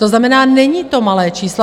To znamená, není to malé číslo.